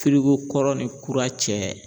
Firiko kɔrɔ ni kura cɛ.